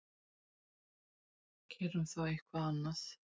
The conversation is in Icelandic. Gerum þá eitthvað annað.